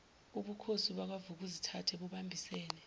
ubukhosi bakwavukuzithathe bubambisene